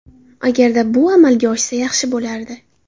Agar bu amalga oshsa, yaxshi bo‘lardi.